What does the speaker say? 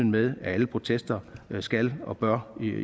med at alle protester skal og bør